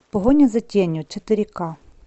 погоня за тенью четыре ка